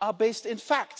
are based in fact.